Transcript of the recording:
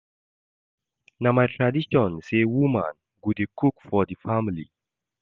Na my tradition sey woman go dey cook for di family.